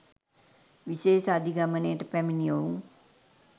විශේෂ අධිගමනයට පැමිණි ඔවුන්